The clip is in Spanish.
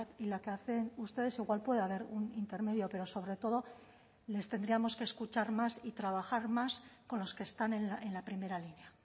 y la que hacen ustedes igual puede haber un intermedio pero sobre todo les tendríamos que escuchar más y trabajar más con los que están en la primera línea